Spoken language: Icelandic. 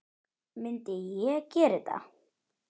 Myndi ég gera þetta?